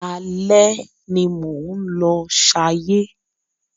Alẹ́ ni mò ń lọ ṣayé.